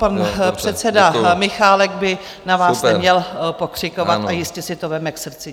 Pan předseda Michálek by na vás neměl pokřikovat a jistě si to vezme k srdci.